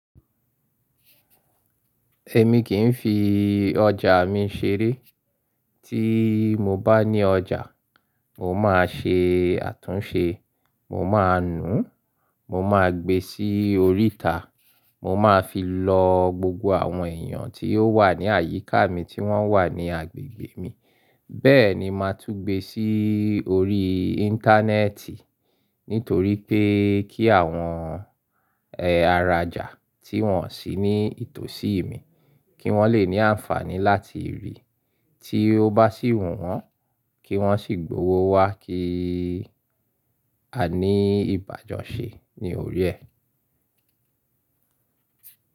Ẹ̀ mi kì ń fi ọjà mi ṣeré. Tí mo bá ní ọjà, mo máa ṣe àtúnṣe, mo máa nùú, mo máa gbe sí oríta, mo máa fi lọ gbogbo àwọn èèyàn tí ó wà ní àyíká mi tí wọ́n wà ní agbègbè mi. Bẹ́ẹ̀ ni máa tún gbe sí orí Íńtánẹ́ẹ̀tì nítorí pé kí àwọn aràjà tí wọ́n sì ní ìtòsí mi kí wọ́n lè ní àǹfààní láti rí i. Tí ó bá sì wù wọ́n, kí wọ́n sì gbowó wá kí a ní ìbájọ ṣe ní orí ẹ.